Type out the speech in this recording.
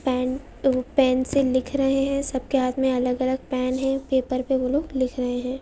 Pen ते pencil लिख रहे है। सबके हाथ में अलग अलग पेन है। पेपर पे वो लोग लिख रहे है।